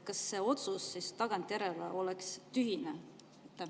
Kas see otsus oleks tagantjärele tühine?